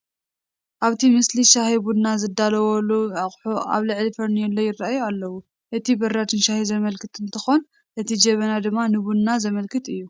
ኣብቲ ምስሊ ሻሂን ቡናን ዝዳለወሎም ኣቑሑ ኣብ ልዕሊ ፈርኔሎ ይርአዩ ኣለዉ፡፡ እቲ ብራድ ንሻሂ ዘመልክት እንትኾን እቲ ጀበና ድማ ንቡና ዘመልክት እዩ፡፡